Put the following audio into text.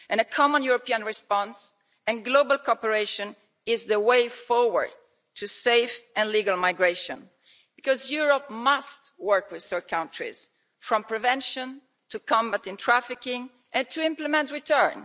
A common European response and global cooperation is the way forward to safe and legal migration because Europe must work with third countries, from prevention to combating trafficking, and to implement return.